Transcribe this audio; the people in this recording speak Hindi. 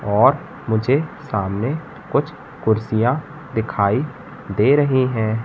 और मुझे सामने कुछ कुर्सियां दिखाई दे रही हैं।